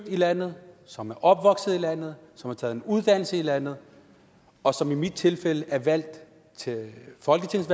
i landet som er opvokset i landet som har taget en uddannelse i landet og som i mit tilfælde er valgt til folketinget